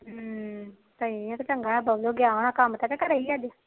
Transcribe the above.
ਹਮ ਇਹ ਤਾ ਚੰਗਾ ਬਬਲੂ ਗਿਆ ਹੋਣਾ ਕੰਮ ਤੇ ਕਿ ਘਰੇ ਹੀ ਅੱਜ